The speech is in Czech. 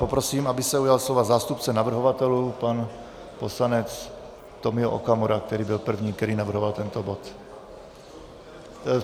Poprosím, aby se ujal slova zástupce navrhovatelů pan poslanec Tomio Okamura, který byl první, který navrhoval tento bod.